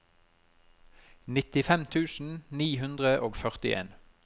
nittifem tusen ni hundre og førtien